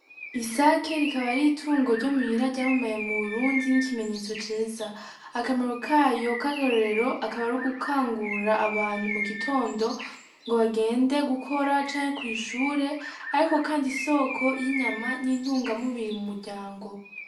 Isake rikaba ari itungo ryo muhira ryamamaye mu rundi nk'ikimenyetso ceza akamero kayo k'akarorero akaba ari gukangura abantu mu gitondo ngo bagende gukora canke kw'ishure, ariko, kandi isoko y'inyama n'intunga mubiri mu muryango.